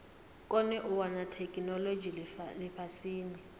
kone u wana theikinolodzhi lifhasini